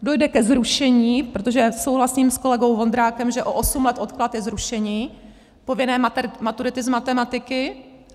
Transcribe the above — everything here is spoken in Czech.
Dojde ke zrušení, protože souhlasím s kolegou Vondrákem, že o osm let odklad je zrušení povinné maturity z matematiky.